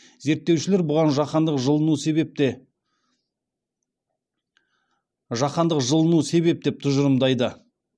зерттеушілер бұған жаһандық жылыну себеп деп тұжырымдайды